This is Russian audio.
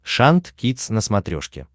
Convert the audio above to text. шант кидс на смотрешке